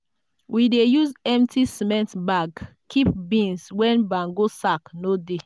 we dey use empty cement bag keep beans when bango sack no dey.